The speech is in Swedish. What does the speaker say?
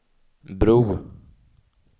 bro